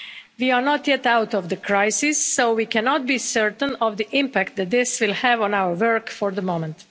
We are not yet out of the crisis, so we cannot be certain of the impact that this will have on our work for the moment.